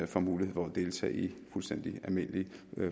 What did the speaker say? får mulighed for at deltage i fuldstændig almindelige